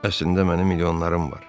Əslində mənim milyonlarım var.